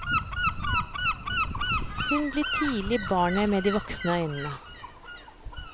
Hun blir tidlig barnet med de voksne øynene.